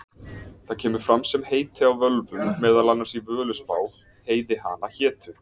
Það kemur fram sem heiti á völvum, meðal annars í Völuspá: Heiði hana hétu,